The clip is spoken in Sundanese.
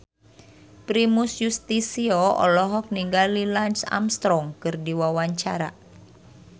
Primus Yustisio olohok ningali Lance Armstrong keur diwawancara